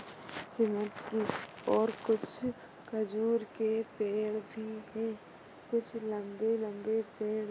Cement कि और कुछ खजूर के पेड़ भी हैं। कुछ लम्बे लम्बे पेड़--